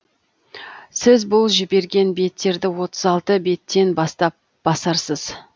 сіз бұл жіберген беттерді отыз алты беттен бастап басарсыз